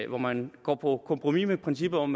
og man går på kompromis med princippet om